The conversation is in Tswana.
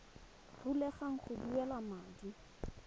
rulaganya go duela madi a